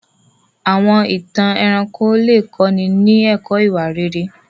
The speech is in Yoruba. Àwọn ìtàn ẹranko lè kọ́ni ní ẹ̀kọ́ ìwà rere.